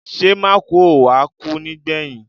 Ṣé Mákùú ò wá kú nígbẹ̀yìn?